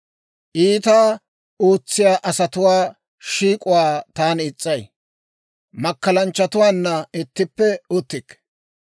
Iitaa ootsiyaa asatuwaa shiik'uwaa taani is's'ay; makkalanchchatuwaanna ittippe uttikke.